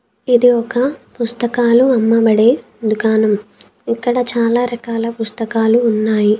ఇది ఒక పుస్తకాలు అమ్మబడే దుకాణం. ఇక్కడ చాలా రకాల పుస్తకాలు ఉన్నాయి.